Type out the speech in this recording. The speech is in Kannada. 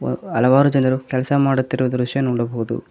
ಮ ಅ ಹಲವಾರು ಜನರು ಕೆಲ್ಸ ಮಾಡುತ್ತಿರುವ ದೃಶ್ಯ ನೋಡಬಹುದು.